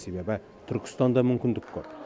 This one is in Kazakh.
себебі түркістанда мүмкіндік көп